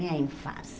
Minha infância.